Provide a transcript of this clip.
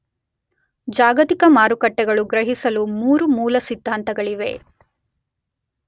ಜಾಗತಿಕ ಮಾರುಕಟ್ಟೆಗಳು ಗ್ರಹಿಸಲು ಮೂರು ಮೂಲ ಸಿದ್ಧಾಂತಗಳಿವೆ.